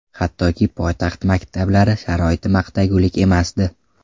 Hattoki poytaxt maktablari sharoiti maqtagulik emasdi.